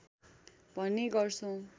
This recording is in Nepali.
भन्ने गर्छौँ